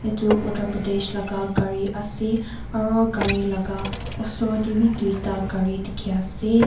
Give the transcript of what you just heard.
etu Uttar Pradesh laka gare ase aro gare laka usor tey beh tuita gare dekhe ase.